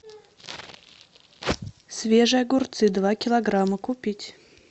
свежие огурцы два килограмма купить